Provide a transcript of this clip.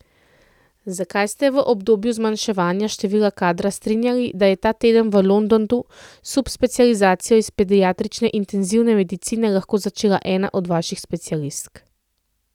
Zakaj ste se v obdobju zmanjševanja števila kadra strinjali, da je ta teden v Londonu subspecializacijo iz pediatrične intenzivne medicine lahko začela ena od vaših specialistk?